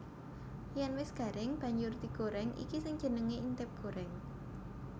Yèn wis garing banjur digorèng iki sing jenengé intip gorèng